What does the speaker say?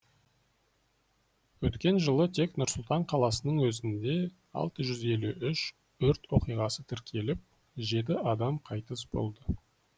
өткен жылы тек нұр сұлтан қаласының өзінде алты жүз елу үш өрт оқиғасы тіркеліп жеті адам қайтыс болды